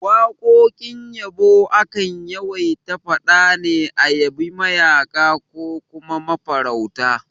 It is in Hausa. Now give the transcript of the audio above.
Waƙoƙin yabo akan yawaita faɗa ne a yabi mayaƙa ko kuma mafarauta